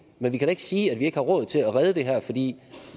men vi kan da ikke sige at vi ikke har råd til at redde det her fordi